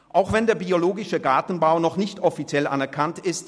Auch wenn der biologische Gartenbau noch nicht offiziell anerkannt ist: